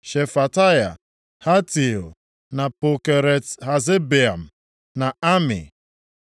Shefataya, Hatil, na Pokeret-Hazebaim na Ami.